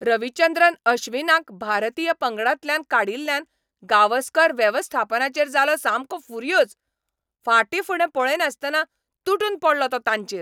रविचंद्रन अश्विनाक भारतीय पंगडांतल्यान काडिल्ल्यान गावस्कर वेवस्थापनाचेर जालो सामको फुर्योज. फाटीफुडें पळयनासतना तुटून पडलो तो तांचेर.